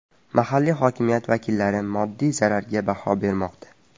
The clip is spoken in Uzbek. Mahalliy hokimiyat vakillari moddiy zararga baho bermoqda.